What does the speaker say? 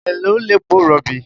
Èló lepo rọ̀bì?